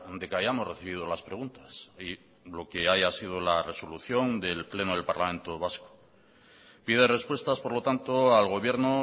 de que hayamos recibido las preguntas y lo que haya sido la resolución del pleno del parlamento vasco pide respuestas por lo tanto al gobierno